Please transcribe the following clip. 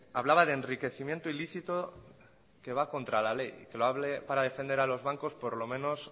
hablaba de enriquecimiento ilícito que va contra la ley que lo hable para defender a los bancos por lo menos